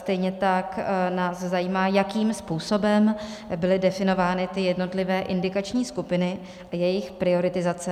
Stejně tak nás zajímá, jakým způsobem byly definovány ty jednotlivé indikační skupiny a jejich prioritizace.